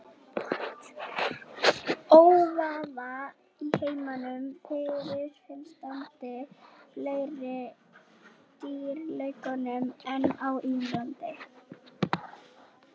Óvíða í heiminum fyrirfinnast fleiri dýrategundir en á Indlandi.